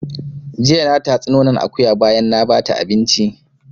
Jiya na tatsi nonon akuya bayan na bata abinci